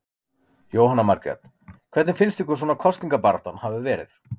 Jóhanna Margrét: Hvernig finnst ykkur svona kosningabaráttan hafa verið?